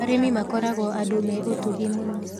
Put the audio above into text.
Arĩmi makoragwo andũ me ũtugi mũingĩ